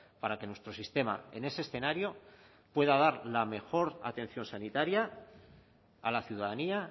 para que nuestro sistema en ese escenario pueda dar la mejor atención sanitaria a la ciudadanía